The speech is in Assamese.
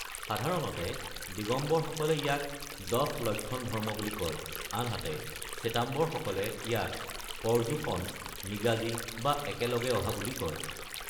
সাধাৰণতে, দিগম্বৰসকলে ইয়াক দশ লক্ষণ ধৰ্ম বুলি কয়, আনহাতে শ্বেতাম্বৰসকলে ইয়াক পৰ্যুষণ ("নিগাজী" বা "একেলগে অহা") বুলি কয়।